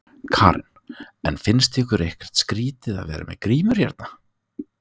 Karen: En finnst ykkur ekkert skrítið að vera með grímur hérna?